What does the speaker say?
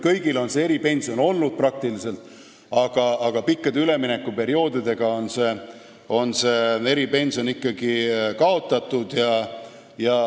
Peaaegu kõigis riikides on eripensionid olnud, aga pikkade üleminekuperioodide järel on need ikkagi kaotatud.